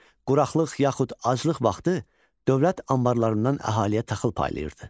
Quraqlıq yaxud aclıq vaxtı dövlət anbarlarından əhaliyə taxıl paylayırdı.